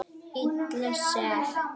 Illa sek.